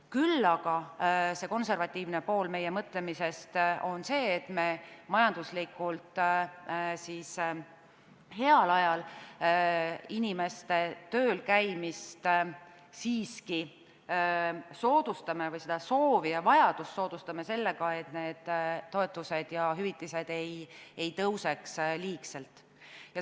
Küll aga on konservatiivne pool meie mõtlemisest see, et me majanduslikult heal ajal inimeste töölkäimist siiski soodustame või seda soovi ja vajadust soodustame – sellega, et need toetused ja hüvitised ei tõuseks liigselt.